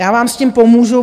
Já vám s tím pomůžu.